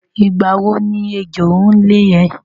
Ìgbà wo ni ẹjọ́ ń lé ẹ?